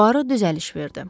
Puaro düzəliş verdi.